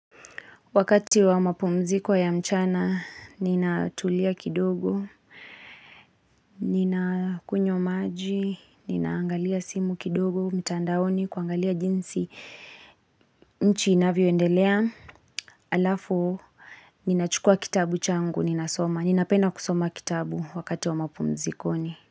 Wakati wa mapumziko ya mchana, nina tulia kidogo, nina kunywa maji, ninaangalia simu kidogo, mtandaoni, kuangalia jinsi, nchi inavyo endelea, halafu, ninachukua kitabu changu, ninasoma, ninapenda kusoma kitabu wakati wa mapumzikoni.